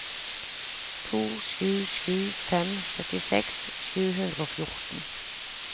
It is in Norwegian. to sju sju fem syttiseks sju hundre og fjorten